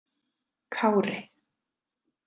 Kári